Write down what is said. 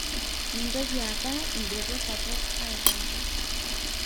Mintoki aata ldero sapuk aikonyi